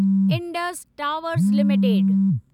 Indus Towers limited